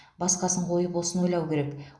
басқасын қойып осыны ойлау керек